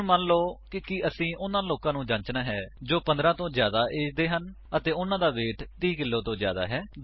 ਹੁਣ ਮੰਨ ਲਾਓ ਕੀ ਅਸੀਂ ਉਨ੍ਹਾਂ ਲੋਕਾਂ ਨੂੰ ਜਾਂਚਨਾ ਹੈ ਜੋ 15 ਤੋਂ ਜਿਆਦਾ ਏਜ ਦੇ ਹਨ ਅਤੇ ਉਨ੍ਹਾਂ ਦਾ ਵੇਟ 30 ਕਿੱਲੋ ਤੋਂ ਜਿਆਦਾ ਹੈ